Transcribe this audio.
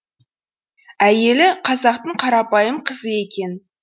әйелі қазақтың қарапайым қызы екен